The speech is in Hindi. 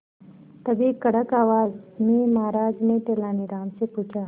तभी कड़क आवाज में महाराज ने तेनालीराम से पूछा